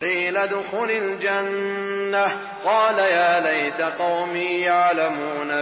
قِيلَ ادْخُلِ الْجَنَّةَ ۖ قَالَ يَا لَيْتَ قَوْمِي يَعْلَمُونَ